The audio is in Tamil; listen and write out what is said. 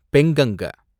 பெங்கங்க